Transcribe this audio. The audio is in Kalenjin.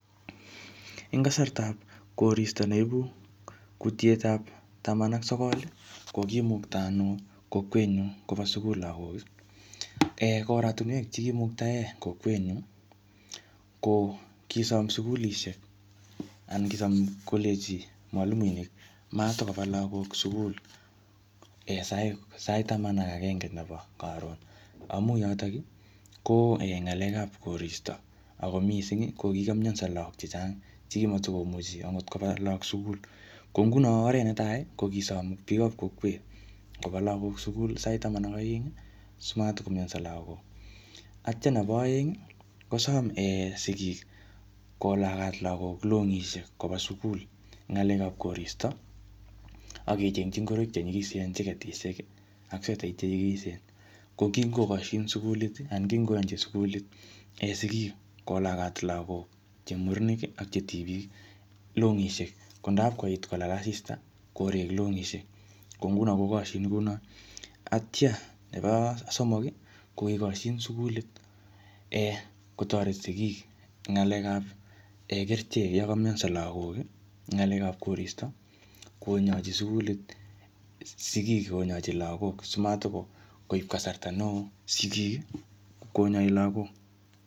Eng kasartap koristo neibu kutietab taman ak sokol, kokimukta ano kokwet nyu koba sukul lagok. um Ko oratunwek chekimuktae kokwet nyu, ko kisom sukulishek, anan kicham kolenji mwalimuinik, matikobaa lagok sukul sait-sait taman ak agenge nebo karon. Amu yotok, ko um ngalekap koristo. Ako missing, kokikamyanso lagok chechang, che matikomuchi angot koba lagok sukul. Ko nguno oret netai, ko kisom biikap kokwet koba lagok sukul sait taman ak aeng, simatikomyanso lagok. Atya nebo aeng, kosom sigik kolagat lagok longisiek koba sukul eng ng'alekap koristo, akechengchi ngoroik che nyikisen cheketishek, ak swetait che nyikisen. Ko kingokoshin sukulit, anan kingoyanchi sukulit sigik kolagat lagok che murenik ak che tibik longishiek. Ko ndapkoit kolale asista, korek longisiek. Ko nguno, kokoshin kunot. Atya nebo somok, ko kikoshin sukulit um kotoret sigik eng ng'alekap kerichek yekamyanso lagok eng ng'alekap koristo, konyachi sukulit sigik konyachi lagok. Simatikoib kasarta ne oo sigik, konyai lagok.